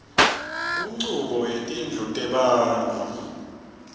kunchubo yetindlu tebantfu